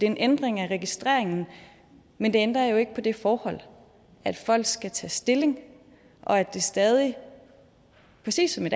en ændring af registreringen men det ændrer jo ikke på det forhold at folk skal tage stilling og at det stadig præcis som i